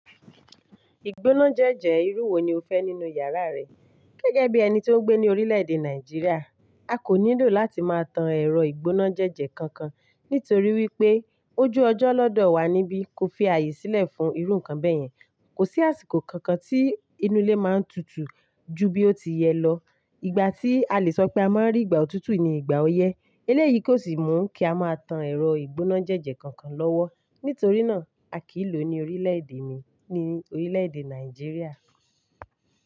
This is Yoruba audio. Ìgbónájẹjẹ irú wo ni o fẹ́ nínú yàrá rẹ? Gẹ́gẹ́ bí ẹni tí ó ń gbé ní orílẹ̀èdè Nàìjíríà, a kò nílò láti máa tan ẹ̀rọ ìgbónájẹjẹ kankan nítorí wípé ojú ọjọ́ lọ́dọ̀ wa níbí ko fi ààyè sílẹ̀ fún irú nǹkan bẹ́yẹn. Kò sí àsìkò kankan tí inú ilé máa ń tutù ju bí ó ti yẹ lọ. Ìgbà tí a lè sọ pé a máa ń rí ìgbà òtútù ni ìgbà ọyẹ́. Eléyìí kò sì mú kí a máa tan ẹ̀rọ ìgbónájẹjẹ kankan lọ́wọ́. Nítorí náà, a kì í lò ó ní orílẹ̀ èdè mi, ní orílẹ̀èdè Nàìjíríà.